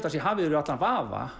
það sé hafið yfir allan vafa